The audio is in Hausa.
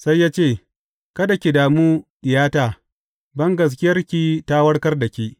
Sai ya ce, Kada ki damu diyata, bangaskiyarki ta warkar da ke.